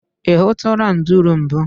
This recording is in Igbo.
I hụtụla nduru mbụ?